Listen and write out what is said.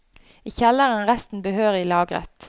I kjelleren er resten behørig lagret.